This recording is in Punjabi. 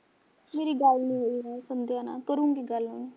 ਮੇਰੀ ਗੱਲ ਨੀ ਹੋਈ ਨਾ ਸੰਦਿਆ ਨਾਲ਼ ਕਰੁਗੀ ਗੱਲ ਹੁਣ